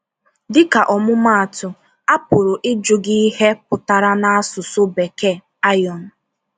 Dịka ọmụmaatụ, a pụrụ ịjụ gị ihe pụtara n’asụsụ Bekee “iron.”